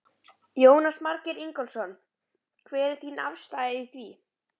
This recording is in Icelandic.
Jónas Margeir Ingólfsson: Hver er þín afstaða í því?